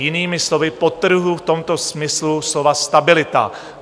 Jinými slovy, podtrhuji v tomto smyslu slova stabilita.